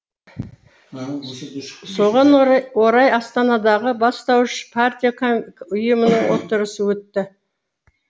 соған орай астанадағы бастауыш партия ұйымының отырысы өтті